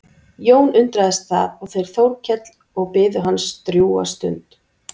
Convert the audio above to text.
Jón undraðist það og þeir Þórkell og biðu hans drjúga stund.